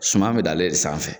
Suman be dan ale de sanfɛ .